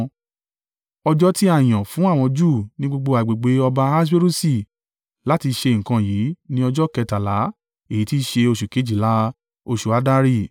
Ọjọ́ tí a yàn fún àwọn Júù ní gbogbo agbègbè ọba Ahaswerusi láti ṣe nǹkan yìí ni ọjọ́ kẹtàlá èyí tí í ṣe oṣù kejìlá, oṣù Addari.